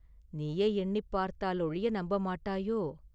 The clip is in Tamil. நீயே எண்ணிப் பார்த்தால் ஒழிய நம்ப மாட்டாயோ?